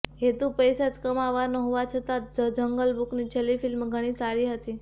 હેતુ પૈસા જ કમાવવાનો હોવા છતાં ધ જંગલ બુકની છેલ્લી ફિલ્મ ઘણી સારી હતી